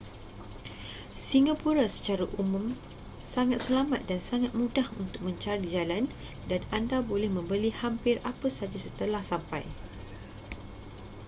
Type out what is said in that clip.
singapura secara umum sangat selamat dan sangat mudah untuk mencari jalan dan anda boleh membeli hampir apa sahaja setelah sampai